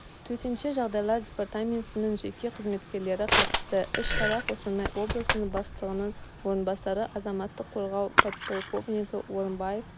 төтенше жағдайлар департаментінің жеке қызметкерлері қатысты іс-шара қостанай облысының бастығының орынбасары азаматтық қорғау подполковнигі орымбаевтың